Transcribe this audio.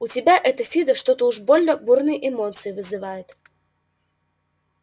у тебя это фидо что-то уж больно бурные эмоции вызывает